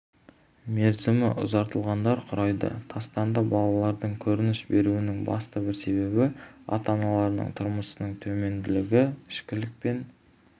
мерзімі ұзартылғандар құрайды тастанды балалардың көрініс беруінің басты бір себебі ата-аналарының тұрмысының төмендігі ішкілік пен